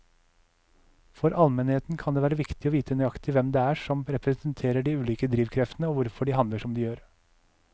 For allmennheten kan det være viktig å vite nøyaktig hvem det er som representerer de ulike drivkreftene og hvorfor de handler som de gjør.